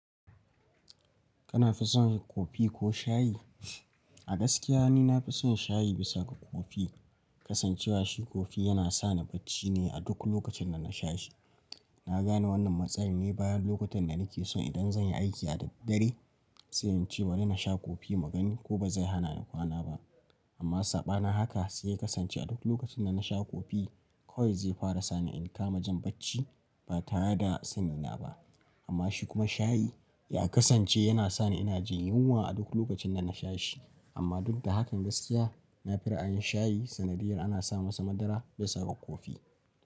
Kana fi son coffee ko shayi? Gaskiya ni nafi son shayi bisa ga coffee. Kasancewa shi kofi yana sani bacci ne a duk lokacin da na sha shi. Na gane wannan matsalar ne bayan lokutan da nake so idan zan yi aiki a daddare, sai in ce bari na sha kofi mugani ko bazai hana ni kwana ba. Amma sabanin haka sai yw kasance a duk lokacin da na sha kofi kawai zai fara sani in kama jin bacci ba tare da sanina ba. Amma shi kuma shayi ya kasance yana sani ina jin yunwa a duk lokacin da na sha shi. Amma duk da hakan gaskiya nafi ra'ayin shayi sanadiyar ana sa masa madara bisa ga kofi.